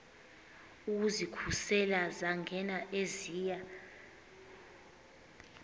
ukuzikhusela zangena eziya